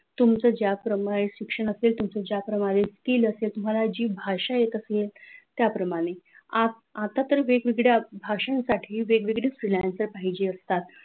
तुमचा ज्याप्रमाणे शिक्षण असेल तुमचा ज्याप्रमाणे skill असेल तुम्हाला जी भाषा येत असेल त्याप्रमाणे आता तर वेगवेगळ्या भाषांसाठी वेगवेगळे freelancer पाहिजे असतात